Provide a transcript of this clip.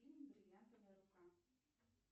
фильм бриллиантовая рука